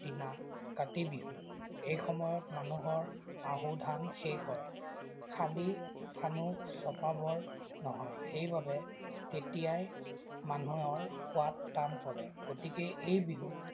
দিনা কাতি বিহু। এই সময়ত মানুহৰ আহু ধান শেষ হয়। শালি-ধানো চপাবৰ নহয়, সেইবাবে তেতিয়াই মানুহৰ খোৱাত টান পৰে। গতিকে, এই বিহু